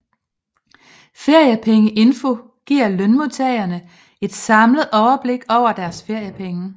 Feriepengeinfo giver lønmodtagerne et samlet overblik over deres feriepenge